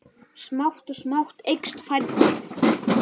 Smátt og smátt eykst færnin.